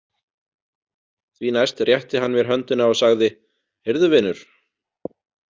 Því næst rétti hann mér höndina og sagði: Heyrðu vinur.